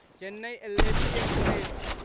Chennai Alleppey express